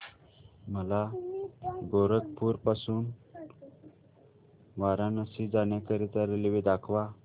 मला गोरखपुर पासून वाराणसी जाण्या करीता रेल्वे दाखवा